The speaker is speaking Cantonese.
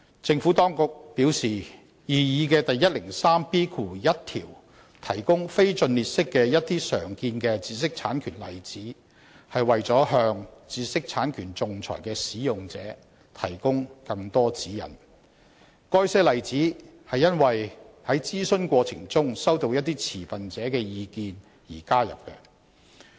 政府當局表示，擬議的第 103B1 條提供一些非盡列式的常見的知識產權例子，是為了向知識產權仲裁的使用者提供更多指引，該些例子是因應在諮詢過程中收到一些持份者的意見而加入。